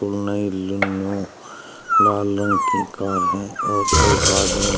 ओ नई लाल रंग की कार है और एक आदमी --